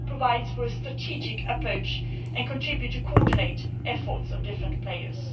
This provides for a strategic approach and contributes to coordinating the efforts of different players.